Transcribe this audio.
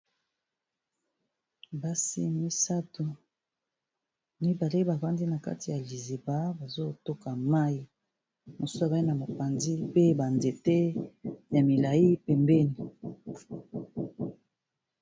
basi misato, mibale bafandi na kati ya liziba bazotoka mai, mosusu bai na mopanzi pe banzete ya milai pembeni